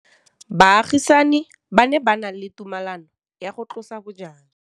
Baagisani ba ne ba na le tumalanô ya go tlosa bojang.